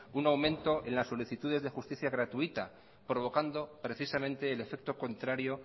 un aumento en las solicitudes de justicia gratuita provocando precisamente el efecto contrario